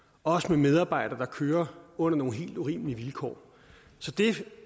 og også med medarbejdere der kører under nogle helt urimelige vilkår så det